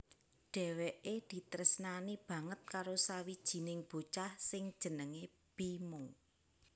Dheweke ditresnani banget karo sawijining bocah sing jenenge Bima